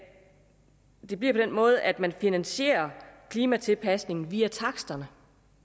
det bliver på den måde at man finansierer klimatilpasning via taksterne